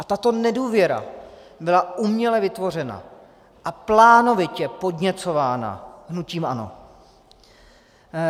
A tato nedůvěra byla uměle vytvořena a plánovitě podněcována hnutím ANO.